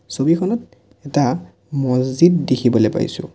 ছবিখনত এটা মহজিদ দেখিবলৈ পাইছোঁ।